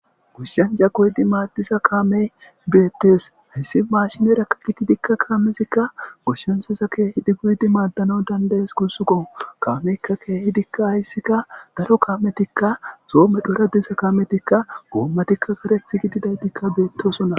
Gushshanja koydi maaddiza kaamey beettes hissi maashinerakka gididikka kaamezikka goshshensosa keehi di goydi maaddano dandayees gunsuko kaameykka keehidikka hayssikka daro kaametikka soome dhora diza kaametikka goommatikka kareth gididaydikka beettosona